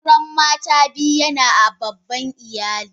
Auren mata biyu yana a babban iyali.